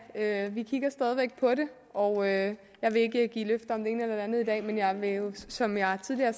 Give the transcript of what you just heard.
ja vi kigger stadig væk på det og jeg vil ikke give løfter om det ene eller andet i dag men jeg vil som jeg tidligere